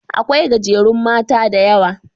Aƙwai gajerun mata da Yawa.